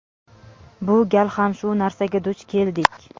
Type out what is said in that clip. bu gal ham shu narsaga duch keldik.